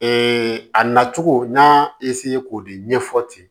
a nacogo n y'a k'o de ɲɛfɔ ten